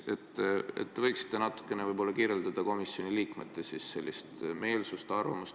Te võiksite natukene kirjeldada komisjoni liikmete meelsust või arvamust.